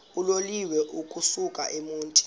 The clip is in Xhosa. uloliwe ukusuk emontini